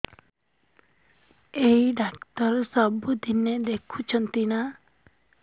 ଏଇ ଡ଼ାକ୍ତର ସବୁଦିନେ ଦେଖୁଛନ୍ତି ନା